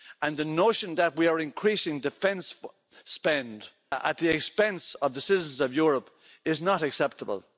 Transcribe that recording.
And the notion that we are increasing defence spend at the expense of the citizens of Europe is not acceptable.